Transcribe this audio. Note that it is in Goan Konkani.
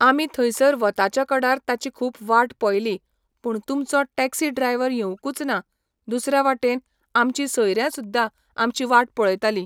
आमी थंयसर वताच्या कडार ताची खूब वाट पयली पूण तुमचो टॅक्सी ड्रायवर येवंकूच ना दुसऱ्या वाटेन आमची सयऱ्यां सुद्दां आमची वाट पळयतालीं